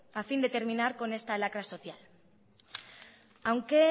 a fin de terminar con esta lacra social aunque